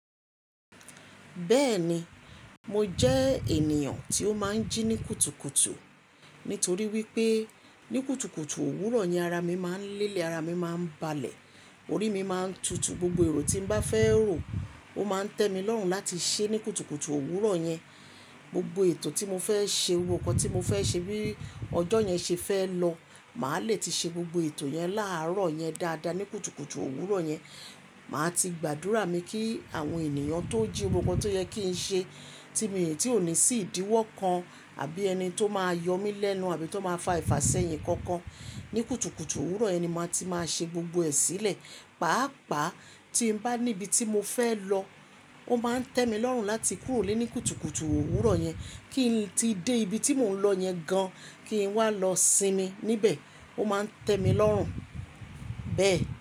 Bẹ́ẹ̀ni, mo jẹ́ ènìyàn tí ó máa ń jí ní kùtùkùtù. Nítorí wípé ní kùtùkùtù òwúrọ̀ ni ara mi máa ń lélẹ̀, ara mi máa ń balẹ̀, orí mi máa ń tutù, gbogbo èrò tí mo bá fẹ́ rò ó máa ń tẹ́ mi lọ́rùn láti ṣe ní kùtùkùtù òwúrọ̀ yẹn. Gbogbo ètò tí mo fẹ́ ṣe, gbogbo nkan tí mo fẹ́ ṣe bí ọjọ́ yẹn ṣe fẹ́ lọ, màá le ti ṣe gbogbo ètò yẹn láàárọ̀ yẹn dáadáa ní kùtùkùtù òwúrọ̀ yẹn. Màá ti gbàdúrà mi kí àwọn ènìyàn tó jí gbogbo nkan tó yẹ kí ń ṣe ti òní sì idíwọ́ kan àbí ẹni tó máa yọ mí lẹ́nu àbí tó máa fa ìfàṣẹ́yìn kankan ní kùtùkùtù òwúrọ̀ yẹn ni màá ti máa ṣe gbogbo ẹ̀ sílẹ̀. Pàápàá tí bá níbi tí mo fẹ́ lọ, ó máa ń tẹ́ mi lọ́rùn láti kúrò ní ilé kùtùkùtù òwúrọ̀ yẹn kí n tí dé ibi tí mò ń lọ yẹn gan kí n wá lọ sinmi níbẹ̀. Ó máa ń tẹ́ mi lọ́rùn. Bẹ́ẹ̀.